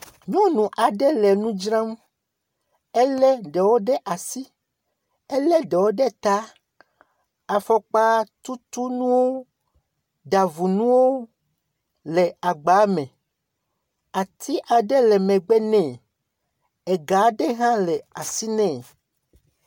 Nyɔnu aɖe le nu dzrame. Ele ɖewo ɖe asi, ele ɖewo ɖe ta. Afɔkpatutunuwo, ɖavunuwo le agba me. Ati aɖe le megbe nɛ. Ega aɖe hã le asi nɛ.